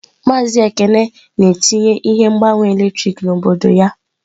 Maazị Ekene na-etinye ihe mgbanwe eletrik n'obodo ya.